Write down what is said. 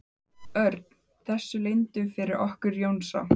Örn þessu leyndu fyrir okkur Jónsa?